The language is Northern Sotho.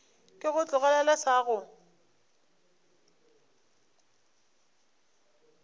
ke go tlogelele sa go